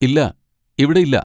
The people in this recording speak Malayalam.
ഇല്ല, ഇവിടെയില്ല.